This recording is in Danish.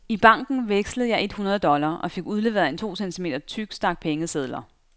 I banken vekslede jeg et hundrede dollar og fik udleveret en to centimeter tyk stak pengesedler.